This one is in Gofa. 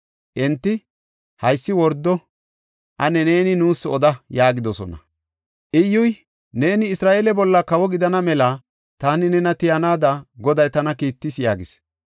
Enti, “Haysi wordo. Ane neeni nuus oda” yaagidosona. Iyyuy, “Neeni Isra7eele bolla kawo gidana mela taani nena tiyanaada Goday tana kiittis” yaagis.